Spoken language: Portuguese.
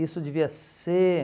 Isso devia ser...